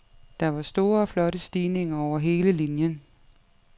Der var store og flotte stigninger over hele linien.